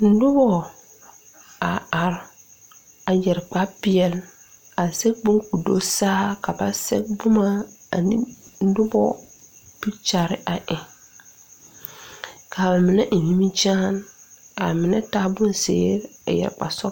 Nobɔ a are a yɛre kpare peɛle a zege bon ko do saa ka ba sɛge boma ane nobɔ pikyɛre a eŋ ka ba mine eŋ nimikyaane ka ba mine taa bonzeere a yɛre kparesɔglɔ.